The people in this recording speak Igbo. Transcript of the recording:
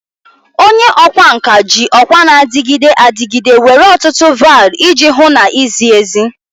Onye ọkwá nkà ji ọkwa na-adịgide adịgide nwere ọtụtụ vial iji hụ na izi ezi.